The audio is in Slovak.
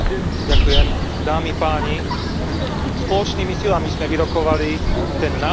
Spoločnými silami sme vyrokovali ten najlepší možný, dosiahnuteľný kompromis.